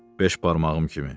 Beş barmağım kimi.